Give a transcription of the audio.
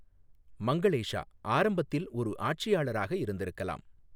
மங்களேஷா ஆரம்பத்தில் ஒரு ஆட்சியாளராக இருந்திருக்கலாம்.